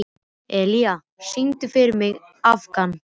Elía, syngdu fyrir mig „Afgan“.